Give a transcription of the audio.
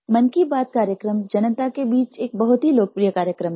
मन की बात कार्यक्रम जनता के बीच एक बहुत ही लोकप्रिय कार्यक्रम है